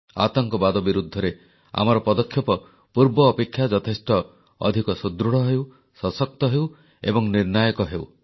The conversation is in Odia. ଆତଙ୍କବାଦ ବିରୁଦ୍ଧରେ ଆମର ପଦକ୍ଷେପ ପୂର୍ବ ଅପେକ୍ଷା ଯଥେଷ୍ଟ ଅଧିକ ସୁଦୃଢ଼ ହେଉ ସଶକ୍ତ ହେଉ ଏବଂ ନିର୍ଣ୍ଣାୟକ ହେଉ